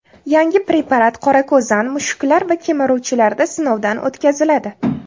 Yangi preparat qorako‘zan, mushuklar va kemiruvchilarda sinovdan o‘tkaziladi.